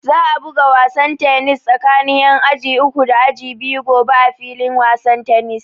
Za a buga wasan tanis tsakin ƴan aji uku da aji biyu gobe a filin wasan tanis